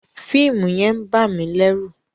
Fíìmù yẹn ń bà mí lẹ́ru.